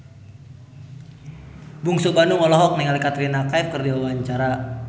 Bungsu Bandung olohok ningali Katrina Kaif keur diwawancara